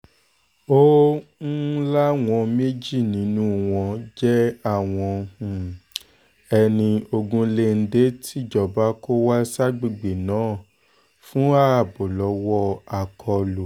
ó um láwọn méjì nínú wọn jẹ́ àwọn um ẹni ogunléndé tìjọba kó wá ságbègbè náà fún ààbò lọ́wọ́ àkọlù